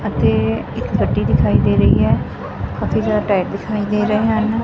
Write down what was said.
ਅਤੇ ਇੱਕ ਗੱਡੀ ਦਿਖਾਈ ਦੇ ਰਹੀ ਹੈ ਬਹੁਤ ਹੀ ਜਿਆਦਾ ਟਾਇਰ ਦਿਖਾਈ ਦੇ ਰਹੇ ਹਨ।